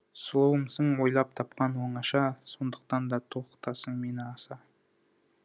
сұлуымсың ойлап тапқан оңаша сондықтан да толқытасың мені аса